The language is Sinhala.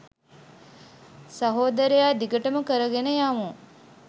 සහෝදරයා! දිගටම කරගෙන යමු!